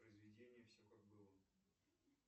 произведение все как было